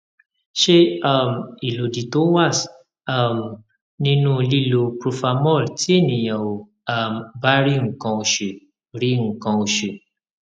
se um ilodi to was um ninu lilo profamol ti eniyan o um ba ri nkan osu ri nkan osu